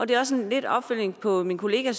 det er også lidt en opfølgning på min kollega